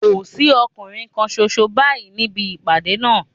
Kò sí ọkùnrin kan ṣoṣo báyìí níbi ìpàdé náà